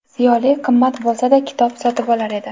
Ziyoli) qimmat bo‘lsa-da, kitob sotib olar edi.